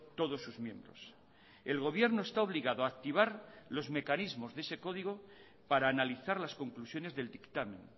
todos sus miembros el gobierno está obligado a activar los mecanismos de ese código para analizar las conclusiones del dictamen